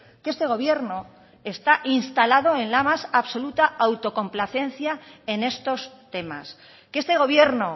que este gobierno está instalado en la más absoluta autocomplacencia en estos temas que este gobierno